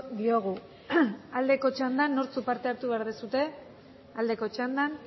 diogu aldeko txandan nortzuk parte hartu behar duzue aldeko txandan